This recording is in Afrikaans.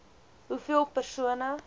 ii hoeveel persone